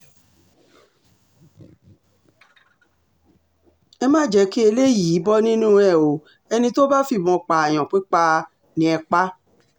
ẹ má jẹ́ kí eléyìí um bọ́ nínú ẹ̀ o ẹni tó bá fìbọn pààyàn pípa um ni ẹ pa á